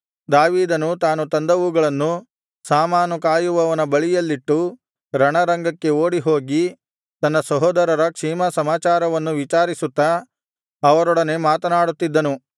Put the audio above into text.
ದಾವೀದನು ತಾನು ತಂದವುಗಳನ್ನು ಸಾಮಾನು ಕಾಯುವವನ ಬಳಿಯಲ್ಲಿಟ್ಟು ರಣರಂಗಕ್ಕೆ ಓಡಿಹೋಗಿ ತನ್ನ ಸಹೋದರರ ಕ್ಷೇಮಸಮಾಚಾರವನ್ನು ವಿಚಾರಿಸುತ್ತಾ ಅವರೊಡನೆ ಮಾತನಾಡುತ್ತಿದ್ದನು